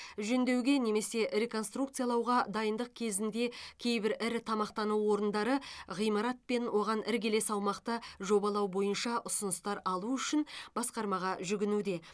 жөндеуге немесе реконструкциялауға дайындық кезінде кейбір ірі тамақтану орындары ғимарат пен оған іргелес аумақты жобалау бойынша ұсыныстар алу үшін басқармаға жүгінуде